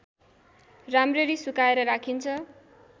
राम्ररी सुकाएर राखिन्छ